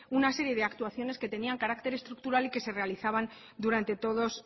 una serie de actuaciones que tenían carácter estructural y que se realizaban durante todos